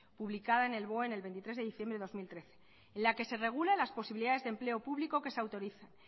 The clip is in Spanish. publicada en el boe el veintitrés de diciembre de dos mil trece la que se regula en las posibilidades de empleo público que se autorizan